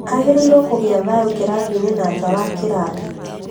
Agĩrĩirwo kũiga thayũ kĩrathi-inĩ na nja wa kĩrathi